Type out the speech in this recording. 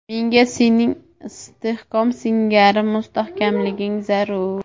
Menga sening istehkom singari mustahkamliging zarur.